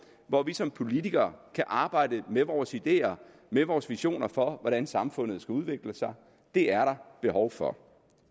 hvor vi som politikere kan arbejde med vores ideer med vores visioner for hvordan samfundet skal udvikle sig det er der behov for